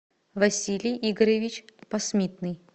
василий игоревич посмитный